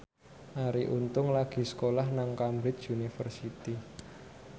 Arie Untung lagi sekolah nang Cambridge University